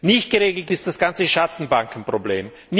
Nicht geregelt ist das ganze Schattenbankenproblem.